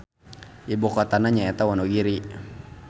Ibukotana nyaeta Wonogiri.